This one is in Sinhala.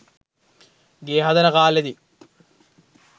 ගේ හදන කාලෙදි